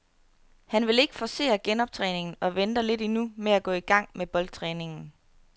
Han vil ikke forcere genoptræningen og venter lidt endnu med at gå i gang med boldtræningen.